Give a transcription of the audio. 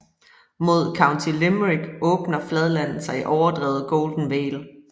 Mod County Limerick åbner fladlandet sig i overdrevet Golden Vale